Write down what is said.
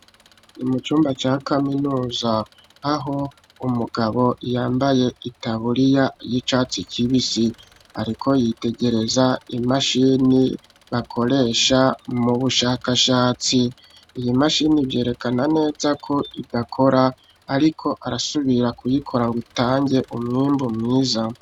Ni mu cumba ca kaminuza aho umugabo yambaye itaburiya y'icatsi kibisi, ariko yitegereza imashini bakoresha mu bushakashatsi, iyi mashini vyerekana neza ko idakora ariko arasubira kuyikora ngo itange umwimbu mwiza.